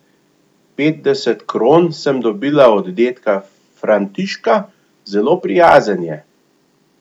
Petdeset kron sem dobila od dedka Františka, zelo prijazen je.